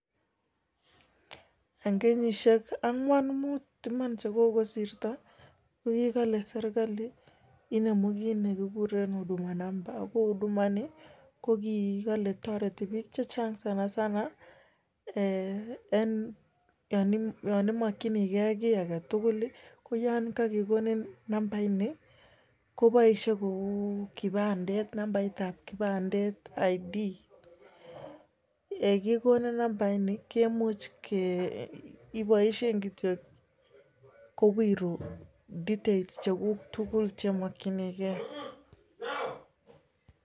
En kenyishik angwan muut iman chekogosirto, kogile serkali inemu kit ne kiguren huduma namba ago huduma ini kogikole toreti biik che chang sanasana en yon imokinige kiy age tugul koyan kagikonin nambaini koboishe kou nambaitab kipandet ID. Ye kigonin nambaini iboeshen kityog kowiru details cheguk tugul chemokinige.